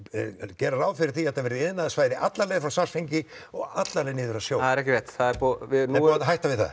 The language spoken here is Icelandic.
gera ráð fyrir því að þetta verði iðnaðarsvæði alla leið frá Svartsengi og alla leið niður að sjó það er ekki rétt er búið að hætta við það